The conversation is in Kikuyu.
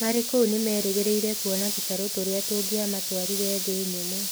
Marĩ kũu nĩ merĩgĩrĩire kuona tũtarũ tũrĩa tũngĩamatwarire thĩ nyũmũ.